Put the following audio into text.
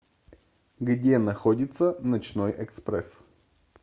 где находится ночной экспресс